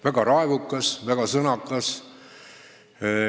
Väga raevukas, väga sõnakas.